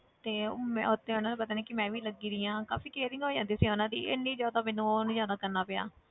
ਤੇ ਮੈਂ ਉੱਥੇ ਉਹਨਾਂ ਨੂੰ ਪਤਾ ਨੀ ਕਿ ਮੈਂ ਵੀ ਲੱਗੀ ਹੋਈ ਹਾਂ ਕਾਫ਼ੀ caring ਹੋ ਜਾਂਦੀ ਸੀ ਉਹਨਾਂ ਦੀ ਇੰਨੀ ਜ਼ਿਆਦਾ ਮੈਨੂੰ ਉਹ ਨੀ ਜ਼ਿਆਦਾ ਕਰਨਾ ਪਿਆ।